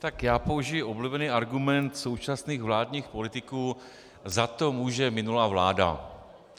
Tak já použiji oblíbený argument současných vládních politiků: za to může minulá vláda.